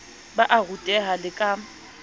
ba a ruteha le ka